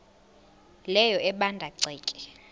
leyo ebanda ceke